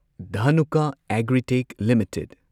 Dhanuka Agritech limited